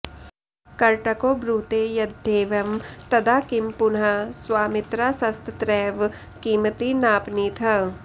करटको ब्रूते यद्येवं तदा किं पुनः स्वामित्रासस्तत्रैव किमिति नापनीतः